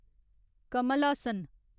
Kamal Haasan